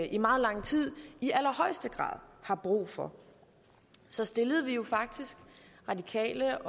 i meget lang tid i allerhøjeste grad har brug for så stillede radikale